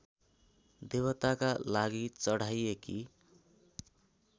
देवताका लागि चढाइएकी